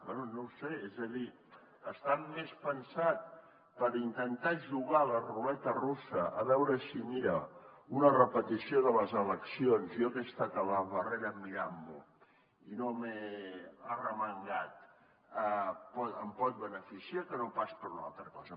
bé no ho sé és a dir està més pensat per intentar jugar a la ruleta russa a veure si mira una repetició de les eleccions jo que he estat a la barrera mirant m’ho i no m’he arremangat em pot beneficiar que no pas per una altra cosa